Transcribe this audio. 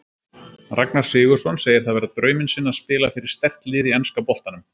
Ragnar Sigurðsson segir það vera drauminn sinn að spila fyrir sterkt lið í enska boltanum.